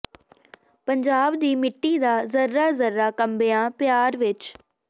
ਪੰਜਾਬ ਦੀ ਮਿੱਟੀ ਦਾ ਜ਼ੱਰਾ ਜ਼ੱਰਾ ਕੰਬਿਆ ਪਿਆਰ ਵਿੱਚ